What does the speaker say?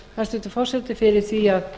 hæstvirtur forseti fyrir því að